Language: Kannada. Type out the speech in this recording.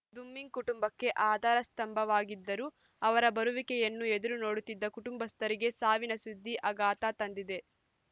ದುಮ್ಮಿಂಗ್‌ ಕುಟುಂಬಕ್ಕೆ ಆಧಾರ ಸ್ತಂಭವಾಗಿದ್ದರು ಅವರ ಬರುವಿಕೆಯನ್ನು ಎದುರು ನೋಡುತ್ತಿದ್ದ ಕುಟುಂಬಸ್ಥರಿಗೆ ಸಾವಿನ ಸುದ್ದಿ ಆಘಾತ ತಂದಿದೆ